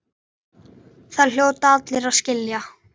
Það hljóta allir að skilja.